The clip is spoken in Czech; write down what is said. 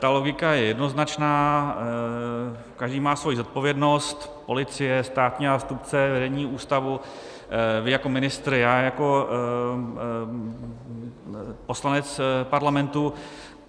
Ta logika je jednoznačná, každý má svoji zodpovědnost, policie, státní zástupce, vedení ústavu, vy jako ministr, já jako poslanec Parlamentu.